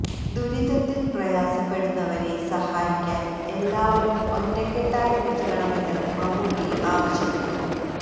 ദുരിതത്തില് പ്രയാസപ്പെടുന്നവരെ സഹായിക്കാന് എല്ലാവരും ഒറ്റക്കെട്ടായി നില്ക്കണമെന്ന് മമ്മൂട്ടി ആവശ്യപ്പെട്ടു